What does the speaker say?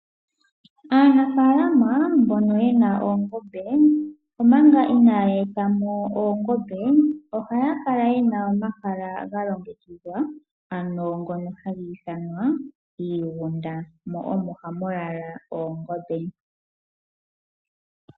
Aanafalama mbono yena oongombe omanga inaya eta mo oongombe, oha kala yena omahala ga longekidhwa ano ngono hagi ithanwa iigunda. Mo omo hamu lala oongombe.